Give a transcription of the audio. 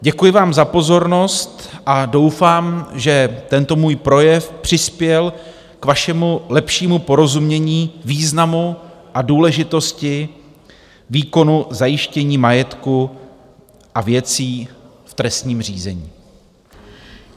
Děkuji vám za pozornost a doufám, že tento můj projev přispěl k vašemu lepšímu porozumění významu a důležitosti výkonu zajištění majetku a věcí v trestním řízení.